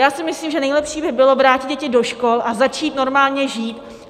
Já si myslím, že nejlepší by bylo vrátit děti do škol a začít normálně žít.